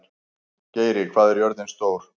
Geiri, hvað er jörðin stór?